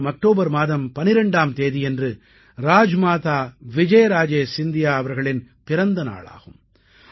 வரும் அக்டோபர் மாதம் 12ஆம் தேதியன்று ராஜ்மாதா விஜய்ராஜே சிந்தியா அவர்களின் பிறந்தநாளாகும்